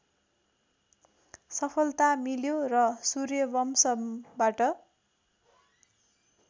सफलता मिल्यो र सूर्यवंशमबाट